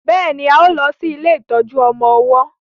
béèni a má lo sí ilé ìtọjú ọmọ ọwó